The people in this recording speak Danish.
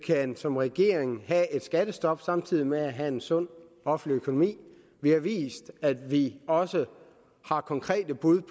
som regering kan have et skattestop samtidig med at have en sund offentlig økonomi vi har vist at vi også har konkrete bud